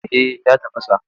Eh ya tafasa.